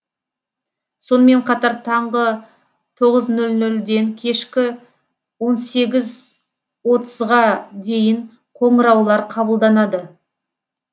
сонымен қатар таңғы тоғыз нөл нөлден кешкі он сегіз отызға дейін қоңыраулар қабылданады